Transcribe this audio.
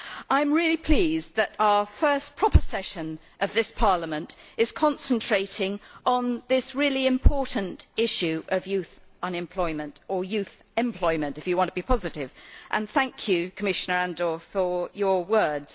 I am really pleased that our first proper session of this Parliament is concentrating on this really important issue of youth unemployment or youth employment if you want to be positive and I would like to thank Commissioner Andor for his words.